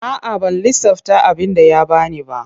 A'a ban lissafta abinda ya bani ba.